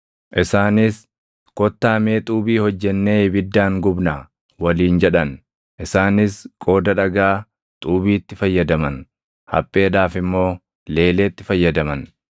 Isaanis, “Kottaa mee xuubii hojjennee ibiddaan gubnaa” waliin jedhan. Isaanis qooda dhagaa, xuubiitti fayyadaman; hapheedhaaf immoo leeleetti fayyadaman.